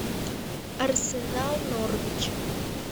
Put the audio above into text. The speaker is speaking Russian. арсенал норвич